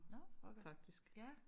Nå okay ja